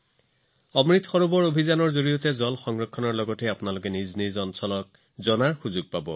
অমৃত সৰোবৰ অভিযানৰ ফলত পানী সংৰক্ষণৰ লগতে আপোনালোকৰ এলেকাটো চিনাক্ত কৰা হব